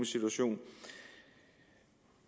situation